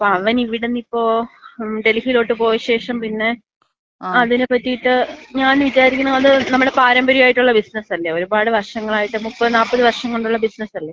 അപ്പോ അവൻ ഇവിടന്ന് ഇപ്പൊ ഡൽഹിയിലോട്ട് പോയശേഷം പിന്നെ അതിനെപ്പറ്റിയിട്ട് ഞാൻ വിചാരിക്കുന്നു അത് നമ്മടെ പാരമ്പര്യമായിട്ടുള്ള ബിസിനസല്ലേ, ഒരുപാട് വർഷങ്ങളായിട്ട് മുപ്പത് നാല്പത് വർഷം കൊണ്ടുള്ള ബിസിനസല്ലേ.